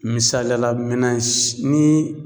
Misaliya la menans ni